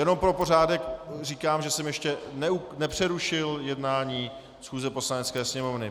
Jenom pro pořádek říkám, že jsem ještě nepřerušil jednání schůze Poslanecké sněmovny.